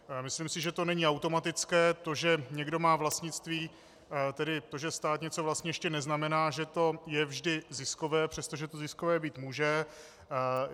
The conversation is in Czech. Myslím si, že to není automatické; to, že někdo má vlastnictví, tedy to, že stát něco vlastní, ještě neznamená, že to je vždy ziskové, přestože to ziskové být může.